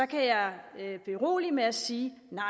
kan jeg berolige med at sige nej